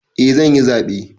Eh zanyi zaɓe